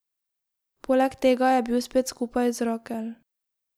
Poleg tega je bil spet skupaj z Rakel.